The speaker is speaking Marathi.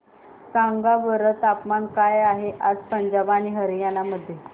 सांगा बरं तापमान काय आहे आज पंजाब आणि हरयाणा मध्ये